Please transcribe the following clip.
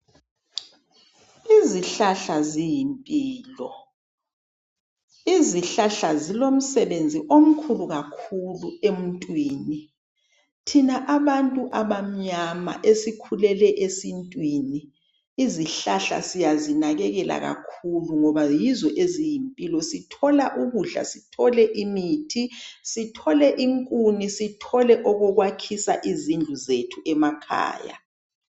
Izihlahla ziyimpilo izihlahla zilomsebenzi omkhulu kakhulu emuntwini, thina abantu abamnyama esikhulele esintwini izihlahla siyazinakelela kakhulu ngoba yizo eziyimpilo sithola ukudla sithole imithi sithole inkuni sithole okokwakhisa izindlu zethu emakhaya.